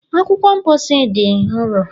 Akwụkwọ mposi na dị nro